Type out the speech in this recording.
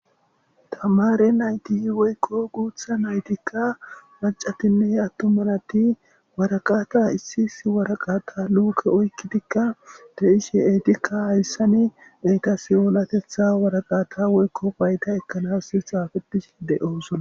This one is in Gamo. tamare nayti woykko guutha naytikka paccatinne attumanati waraqata issi issi waraqata luuke oykkitikka de ishi eetikka hayssani deyta siyoolatetha waraqata woykko baayta ekkanas xaafeti de7oosona